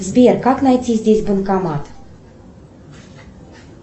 сбер как найти здесь банкомат